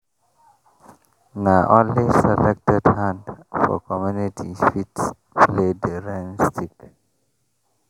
na only selected hand for community fit play di rain stick.